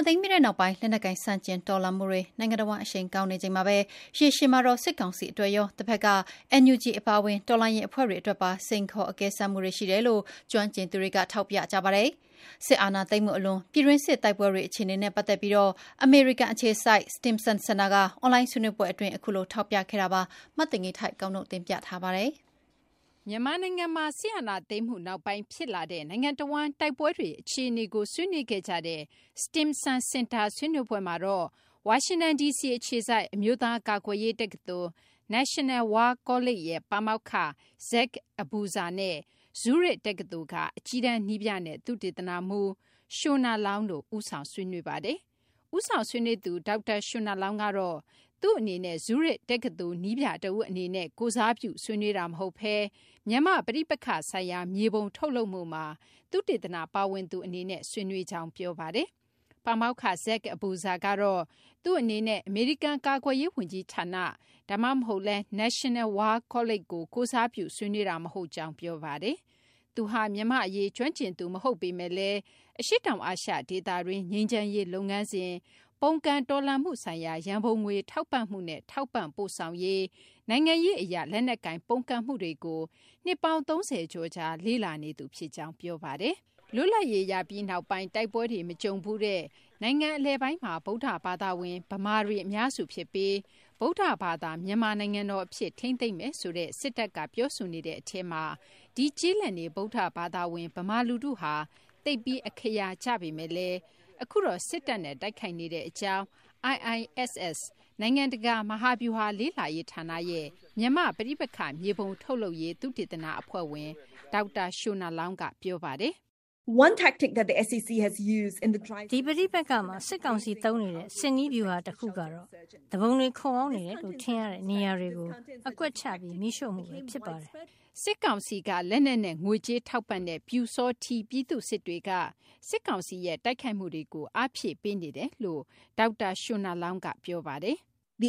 ာသိမ်းပြီးနောက်ပိုင်း လက်နက်ကိုင် ဆန့်ကျင် တော်လှန်မှုတွေ နိုင်ငံတဝှမ်း အရှိန်ကောင်းနေချိန်မှာဘဲ ရေရှည်မှာတော့ စစ်ကောင်စီ အတွက်ရော၊ တဖက်က NUG အပါအဝင် တော်လှန်ရေးအဖွဲ့တွေ အတွက်ပါ စိန်ခေါ်အကဲစမ်းမှုတွေ ရှိတယ်လို့ ကျွမ်းကျင်သူတွေက ထောက်ပြကြပါတယ်။ စစ်အာဏာသိမ်းမှုအလွန် ပြည်တွင်းစစ်အတွင်း တိုက်ပွဲတွေ အခြေအနေနဲ့ ပတ်သက်ပြီး အမေရိကန် အခြေစိုက် Stimson စင်တာက အွန်လိုင်း ဆွေးနွေးပွဲအတွင်း အခုလို ထောက်ပြခဲ့ကြတာပါ။ မသိင်္ဂ ီထိုက် ကောက်နုတ်တင်ပြပေးပါမယ်။ မြန်မာနိုင်ငံမှာ စစ်အာဏာသိမ်းမှု နောက်ပိုင်း ဖြစ်လာတဲ့ နိုင်ငံတဝှမ်း တိုက်ပွဲတွေ အခြေအနေကို ဆွေးနွေးခဲ့ကြတဲ့ Stimson စင်တာ ဆွေးနွေးပွဲမှာတော့ ဝါရှင်တန်ဒီစီ အခြေစိုက် အမျိုးသား ကာကွယ်ရေးတက္ကသိုလ် National War College ရဲ့ ပါမောက္ခ Zach Abuza နဲ့ Zurich တက္ကသိုလ်က အကြီးတန်း နည်းပြနဲ့ သုတေသနမှူး Shona Loong တို့ ဦးဆောင် ဆွေးနွေးခဲ့ကြတာပါ။ ဦးဆောင် ဆွေးနွေးသူ ဒေါက်တာ Shona Loong ကတော့ သူ့အနေနဲ့ Zurich တက္ကသိုလ် နည်းပြတဦး အနေနဲ့ ကိုယ်စားပြု ဆွေးနွေးတာ မဟုတ်ဘဲ မြန်မာ့ ပဋိပက္ခဆိုင်ရာ မြေပုံ ထုတ်လုပ်မှုမှာ သုတေသန ပါဝင်သူ အနေနဲ့ ဆွေးနွေးကြောင်း ပြောပါတယ်။ ပါမောက္ခ Zach Abuza ကတော့ သူ့အနေနဲ့ အမေရိကန် ကာကွယ်ရေးဝန်ကြီးဌာန ဒါမှမဟုတ်လည်း National War College ကို ကိုယ်စားပြု ဆွေးနွေးတာ မဟုတ်ကြောင်း ပြောပါတယ်။ သူဟာ မြန်မာ့ အရေး ကျွမ်းကျင်သူ မဟုတ်ပေမယ့်လည်း အရှေ့တောင် အာရှ ဒေသတွင်း ငြိမ်းချမ်းရေး လုပ်ငန်းစဉ်၊ ပုန်ကန်တော်လှန်မှု ဆိုင်ရာ ရန်ပုံငွေထောက်ပံ့မှုနဲ့ ထောက်ပံ့ပို့ဆောင်ရေး၊ နိုင်ငံရေးအရ လက်နက်ကိုင် ပုန်ကန်မှုတွေကို နှစ်ပေါင်း ၃၀ ကျော်ကြာ လေ့လာနေသူ ဖြစ်ကြောင်း ပြောပါတယ်။ လွတ်လပ်ရေးရပြီးနောက်ပိုင်း တိုက်ပွဲတွေ မကြုံဖူးတဲ့ နိုင်ငံအလယ်ပိုင်းမှာ ဗုဒ္ဓဘာသာဝင် ဗမာတွေ အများစုဖြစ်ပြီး ဗုဒ္ဓဘာသာ မြန်မာနိုင်ငံတော် အဖြစ် ထိန်းသိမ်းမယ်ဆိုတဲ့ စစ်တပ်က ပြောဆိုနေတဲ့ အထဲမှာ ဒီ ကျေးလက်နေ ဗုဒ္ဓဘာသာဝင် ဗမာ လူထုဟာ သိပ်ပြီး အခရာ ကျပေမဲ့လည်း အခုတော့ စစ်တပ်နဲ့ တိုက်ခိုက်နေတဲ့ အကြောင်း IISS နိုင်ငံတကာ မဟာဗျူဟာ လေ့လာရေးဌာနရဲ့ နိုင်ငံတကာ မြန်မာ့ပဋိပက္ခ မြေပုံ ထုတ်လုပ်ရေး သုတေသန အဖွဲ့ဝင် ဒေါက်တာ Shona Loong က ပြောပါတယ်။ ဒီပဋိပက္ခမှာ စစ်ကောင်စီ သုံးနေတဲ့ စစ်နည်းဗျူဟာ တခုကတော့ သူပုန်တွေ ခိုအောင်းနေတယ်လို့ ထင်တဲ့ နေရာတွေကို အကွက်ချ မီးရှိုှု့မှုဘဲ ဖြစ်ပါတယ်။ စစ်ကောင်စီက လက်နက်နဲ့ ငွေကြေး ထောက်ပံ့တဲ့ ပျူစောထီး ပြည်သူ့စစ်တွေက စစ်ကောင်စီရဲ့ တိုက်ခိုက်မှုတွေကို အားဖြည့်ပေးနေတယ်လို့လည်း ဒေါက်တာ Shona Loong က ပြောပါတယ်။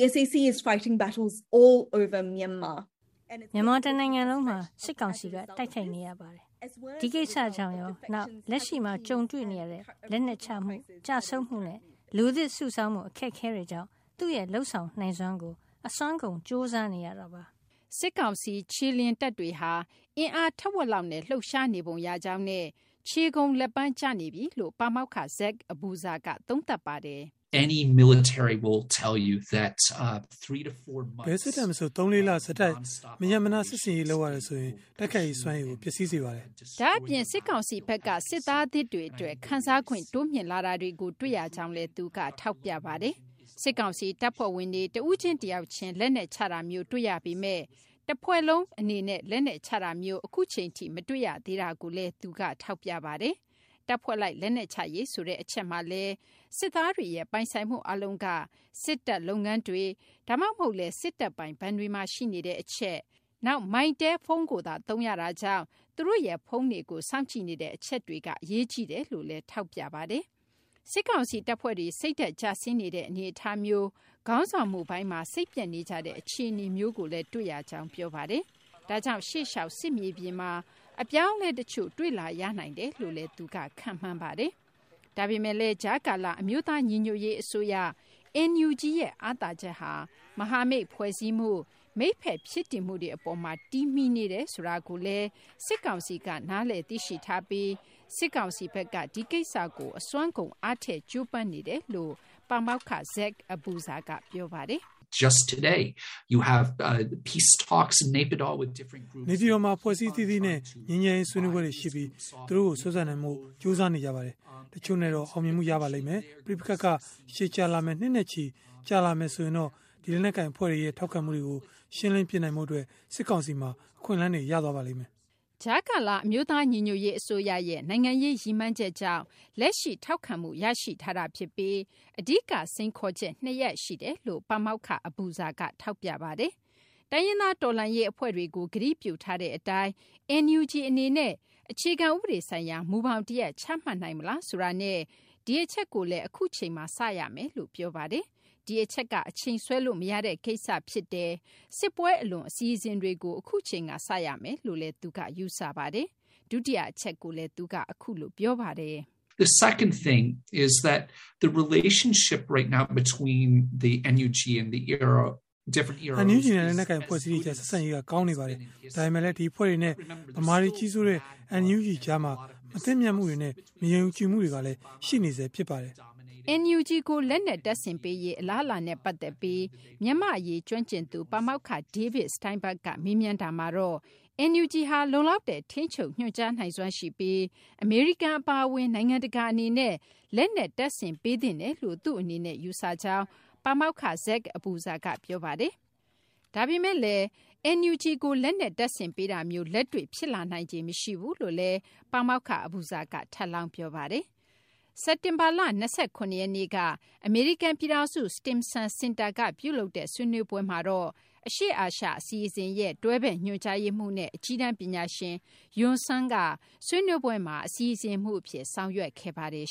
မြန်မာ တနိုင်ငံလုံးမှာ စစ်ကောင်စီက တိုက်ခိုက်နေရပါတယ်။ ဒီကိစ္စကြောင့်ရော နောက် လက်ရှိမှာ ကြုံတွေ့နေရတဲ့ လက်နက်ချမှု၊ ကျဆုံးမှုနဲ့ လူသစ် စုဆောင်းဖို့ အခက်အခဲတွေကြောင့် သူ့ရဲ့ လုပ်ဆောင်နိုင်စွမ်းကို အစွမ်းကုန် ကြိုးစားနေရပါတယ်။ စစ်ကောင်စီ ခြေလျင်တပ်တွေဟာ အင်အား ထက်ဝက်လောက်နဲ့ လှုပ်ရှားနေပုံရကြောင်းနဲ့ ခြေကုန်လက်ပန်းကျနေပြီလို့ ပါမောက္ခ Zach Abuza က သုံးသပ်ပါတယ်။ ဘယ်စစ်တပ် မဆို ၃ လ၊ ၄ လ ဆက်တိုက် မရပ်မနား စစ်ဆင်ရေးဟာဆိုရင် တိုက်ခိုက်ရေး စွမ်းရည်ကို ပျက်စီးစေပါလိမ့်မယ်။ ဒါ့အပြင် စစ်ကောင်စီဘက်က စစ်သားသစ်တွေအတွက် ခံစားခွင့်တိုးမြှင့်လာတာကို တွေ့ရကြောင်းလည်း သူက ထောက်ပြပါတယ်။ စစ်ကောင်စီတပ်ဖွဲ့ဝင်တွေ တဦးချင်း တယောက်ချင်း လက်နက်ချတာမျိုးကို တွေ့ရပေမယ့်လည်း တပ်ဖွဲ့ တခုလုံး လက်နက်ချတာမျိုး အခုအချိန်ထိ မတွေ့ရသေးတာကိုလည်း ဒေါက်တာ Zach Abuza က ထောက်ပြပါတယ်။ တပ်ဖွဲ့လိုက် လက်နက်ချရေးဆိုတဲ့ အချက်မှာလည်း စစ်သားတွေရဲ့ ပိုင်ဆိုင်မှု အားလုံးက စစ်တပ်လုပ်ငန်းတွေ ဒါမှမဟုတ်လည်း စစ်တပ်ပိုင် ဘဏ်တွေမှာ ရှိနေတဲ့ အချက်၊ နောက် Mytel ဖုန်းကိုသာ သုံးရတာကြောင့် သူတို့ရဲ့ ဖုန်းတွေကို စောင့်ကြည့်နေတဲ့ အချက်တွေက အရေးကြီးတယ်လို့လည်း သူက ထောက်ပြပါတယ်။ စစ်ကောင်စီ တပ်ဖွဲ့တွေ စိတ်ဓာတ် ကျဆင်းနေတဲ့ အနေအထားမျိုး၊ ခေါင်းဆောင်မှုပိုင်းမှာ စိတ်ပျက်နေကြတဲ့ အခြေအနေမျိုးတွေလည်း တွေ့နေရကြောင်းလည်း ပြောပါတယ်။ ဒါကြောင့် ရှေ့လျှောက် စစ်မြေပြင်မှာ အပြောင်းအလဲ တချို့ တွေ့လာရနိုင်တယ်လို့လည်း သူက ခန့်မှန်းပါတယ်။ ဒါပေမယ့်လည်း ကြားကာလ အမျိုးသား ညီညွတ်ရေး အစိုးရ NUG ရဲ့ အားသာချက်ဟာ မဟာမိတ်ဖွဲ့စည်းမှု၊ မိတ်ဖက် ဖြစ်တည်မှုတွေ အပေါ်မှာ တည်မှီနေတယ်ဆိုတာကို စစ်ကောင်စီက နားလည် သိရှိထားပြီး ဒီအပေါ်မှာလည်း စစ်ကောင်စီက အစွမ်းကုန် အားထည့် ကြိုးပမ်းနေတယ်လို့ ပါမောက္ခ Zach Abuza က ပြောပါတယ်။ “ နေပြည်တော်မှာ အဖွဲ့အစည်း အသီးသီးနဲ့ ငြိမ်းချမ်းရေး ဆွေးနွေးပွဲတွေ ရှိပြီး သူတို့ကို ဆွဲဆောင်နိုင်ဖို့ သူတို့က ကြိုးစားနေပါတယ်။ တချို့နဲ့တော့ အောင်မြင်မှု ရပါလိမ့်မယ်။ ပဋိပက္ခက ရှည်ကြာလာမယ် နှစ်နဲ့ချီ ကြာလာမယ် ဆိုရင်တော့ ဒီ လက်နက်ကိုင် အဖွဲ့တွေရဲ့ ထောက်ခံမှုတွေကို ရှင်းလင်းပစ်နိုင်ဖို့အတွက် စစ်ကောင်စီ အတွက် အခွင့်အလမ်းတွေ ရသွားစေပါမယ်။ ” ကြားကာလ အမျိုးသား ညီညွတ်ရေး အစိုးရရဲ့ နိုင်ငံရေး ရည်မှန်းချက်ကြောင့် လက်ရှိ ထောက်ခံမှု ရရှိထားတာ ဖြစ်ပြီး အဓိက စိန်ခေါ်ချက် ၂ ရပ်ရှိတယ်လို့လည်း ပါမောက္ခ Zach Abuza က ထောက်ပြပါတယ်။ တိုင်းရင်းသား တော်လှန်ရေး အဖွဲ့တွေကို ကတိပြုထားတဲ့ အတိုင်း NUG အနေနဲ့ အခြေခံ ဥပဒေဆိုင်ရာ မူဘောင် တရပ် ချမှတ်နိုင်မလားဆိုတာနဲ့ ဒီအချက်ကိုလည်း အခုအချိန်မှာ စကြရမယ်လို့ ပြောပါတယ်။ ဒီအချက်က အချိန်ဆွဲလို့ မရတဲ့ ကိစ္စ ဖြစ်တယ်၊ စစ်ပွဲ အလွန် အစီအစဉ်တွေကို အခုအချိန်က စရမယ်လို့ သူက ယူဆပါတယ်။ ဒုတိယ အချက်ကိုလည်း သူက အခုလို ပြောပါတယ်။ NUG နဲ့ လက်နက်ကိုင် အဖွဲ့အစည်းတွေကြား ဆက်ဆံရေးက ကောင်းနေပါတယ်။ ဒါပေမယ့်လည်း ဒီအဖွဲ့တွေနဲ့ ဗမာတွေ ကြီးစိုးတဲ့ NUG ကြားမှာ မသင့်မြတ်မှုတွေနဲ့ မယုံကြည်မှုတွေက ရှိနေဆဲ ဖြစ်ပါတယ်။ NUG ကို လက်နက် တပ်ဆင်ပေးရေး အလားအလာနဲ့ ပတ်သက်ပြီး မြန်မာ့အရေး ကျွမ်းကျင်သူ ပါမောက္ခ David Steinberg က မေးမြန်းတာမှာတော့ NUG ဟာ လုံလောက်တဲ့ ထိန်းချုပ် ညွှန်ကြားနိုင်စွမ်းရှိပြီး အမေရိကန် အပါအဝင် နိုင်ငံတကာ အနေနဲ့ လက်နက် တပ်ဆင်ပေးသင့်တယ်လို့ သူ့အနေနဲ့ ယူဆကြောင်း ပါမောက္ခ Zach Abuza က ပြောပါတယ်။ ဒါပေမယ့်လည်း NUG ကို လက်နက် တပ်ဆင်ပေးတာမျိုး လက်တွေ့ ဖြစ်လာနိုင်ခြေမရှိဘူးလို့လည်း ပါမောက္ခ Abuza က ထပ်လောင်း ပြောပါတယ်။ စက်တင်ဘာလ ၂၇ ရက်နေ့က အမေရိကန် ပြည်ထောင်စု Stimson စင်တာမှာ ပြုလုပ်တဲ့ ဆွေးနွေးပွဲကိုတော့ အရှေ့အာရှ အစီအစဉ်ရဲ့ တွဲဖက်ညွှန်ကြားရေးမှူးနဲ့ အကြီးတန်း ပညာရှင် Yun Sun က ဆွေးနွေးပွဲမှာ အစီအစဉ်မှူး အဖြစ် ဆောင်ရွက်ခဲ့ပါတယ်